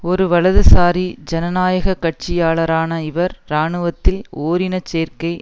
ஒரு வலதுசாரி ஜனநாயக கட்சியாளரான இவர் இராணுவத்தில் ஓரின சேர்க்கை